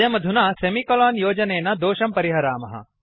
वयम् अधुना सेमिकलोन् योजनेन दोषं परिहरामः